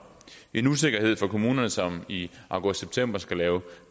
en usikkerhed for kommunerne som i august september skal lave